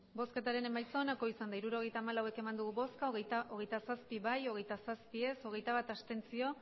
hirurogeita hamalau eman dugu bozka hogeita zazpi bai hogeita zazpi ez hogeita bat abstentzio